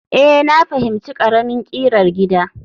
Ee, na fahimci ƙaramin ƙirar gida